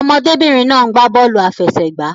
Ọmọdé-bìnrin náà ń gbà bọ́ọ̀lù àfẹsẹ̀gbá.